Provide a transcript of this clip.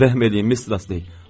Rəhm eləyin, Mister Astley.